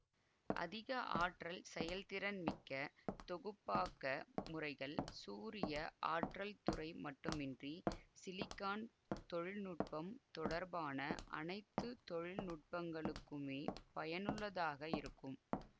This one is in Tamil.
அதிக ஆற்றல் செயல்திறன் மிக்க தொகுப்பாக்க முறைகள் சூரிய ஆற்றல் துறை மட்டுமின்றி சிலிக்கான் தொழில்நுட்பம் தொடர்பான அனைத்து தொழில் நுட்பங்களுக்குமே பயனுள்ளதாக இருக்கும்